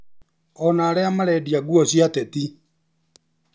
Ona arĩa marendia nguo cĩa ateti